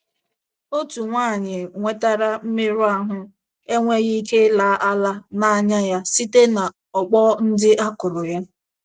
Otú nwanyị nwetara mmerụ ahụ enweghị ike ịla ala n'anya ya site na ọkpọ ndị a kụrụ ya